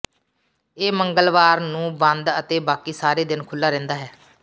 ਇਹ ਮੰਗਲਵਾਰ ਨੂੰ ਬੰਦ ਤੇ ਬਾਕੀ ਸਾਰੇ ਦਿੱਨ ਖੁੱਲ੍ਹਾ ਰਹਿੰਦਾ ਹੈ